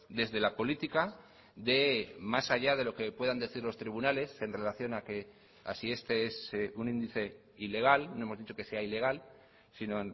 desde la política de más allá de lo que puedan decir los tribunales en relación a que a si este es un índice ilegal no hemos dicho que sea ilegal sino